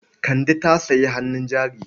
Kande ta sayi hannun jari.